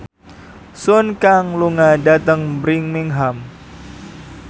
Sun Kang lunga dhateng Birmingham